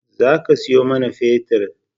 Za ki sayo mana fetir